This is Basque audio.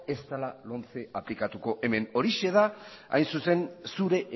ez dela lomce aplikatuko hemen horixe da hain zuzen zure